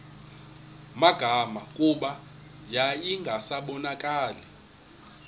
magama kuba yayingasabonakali